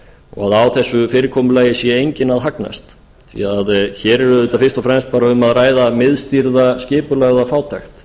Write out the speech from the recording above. og á þessu fyrirkomulagi sé enginn að hagnast því hér er auðvitað fyrst um að ræða miðstýrða skipulagða fátækt